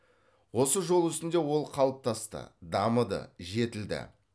осы жол үстінде ол қалыптасты дамыды жетілді